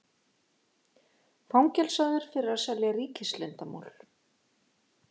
Fangelsaður fyrir að selja ríkisleyndarmál